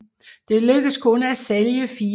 Det lykkedes kun at sælge fire